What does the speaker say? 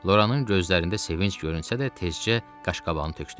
Loranın gözlərində sevinc görünsə də, tezcə qaşqabağını tökdü.